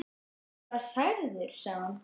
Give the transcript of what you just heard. Þú hlýtur að vera særður sagði hún.